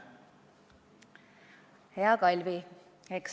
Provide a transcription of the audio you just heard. Hea Kalvi!